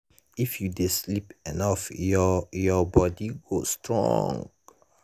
if you sleep enough your your body go strong.